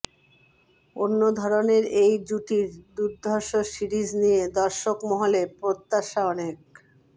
অন্যধরনের এই জুটির দুর্ধষ সিরিজ নিয়ে দর্শক মহলে প্রত্যাশা অনেক